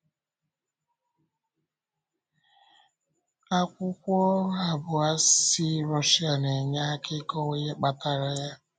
Akwụkwọ ọrụ abụọ si Russia na-enye aka ịkọwa ihe kpatara ya.